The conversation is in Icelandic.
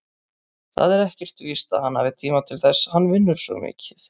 Það er ekkert víst að hann hafi tíma til þess, hann vinnur svo mikið.